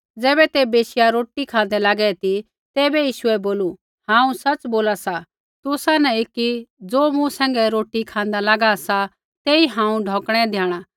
ज़ैबै ते बैशिया रोटी खाँदै लागै ती तैबै यीशुऐ बोलू हांऊँ सच़ बोला सा तुसा न एकी ज़ो मूँ सैंघै रोटी खाँदा लागा सा तेई हांऊँ ढौकणै द्याणा